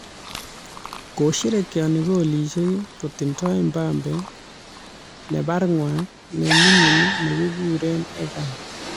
Kosherekeoni kolisiek kotindoi Mbappe nebarng'wa neming'in nekikuree Ethan.